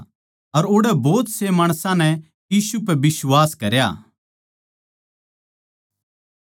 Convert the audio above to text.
अर ओड़ै भोत से माणसां नै यीशु पै बिश्वास करया